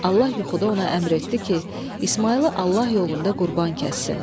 Allah yuxuda ona əmr etdi ki, İsmayılı Allah yolunda qurban kəssin.